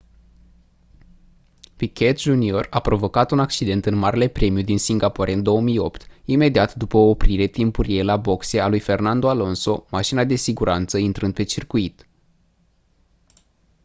piquet jr a provocat un accident în marele premiu din singapore în 2008 imediat după o oprire timpurie la boxe a lui fernando alonso mașina de siguranță intrând pe circuit